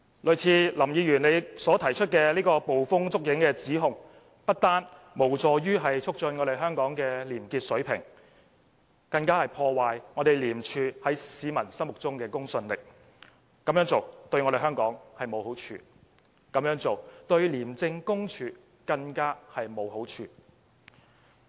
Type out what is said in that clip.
類似林議員所提出的捕風捉影的指控，不單無助於促進香港的廉潔水平，反而會破壞廉署在市民心目中的公信力，這樣做對香港沒有好處，對廉署更無好處可言。